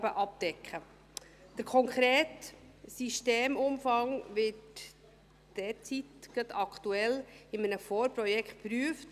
Der konkrete Systemumfang wird gerade aktuell in einem Vorprojekt geprüft.